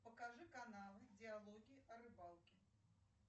покажи каналы диалоги о рыбалке